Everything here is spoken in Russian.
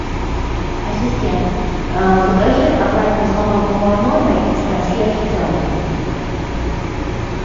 ассистент закажи обратный звонок в мой номер из консьерж центра